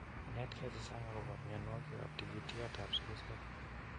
Inetkei che chang' akopa mianwokikap tigityatap sugusek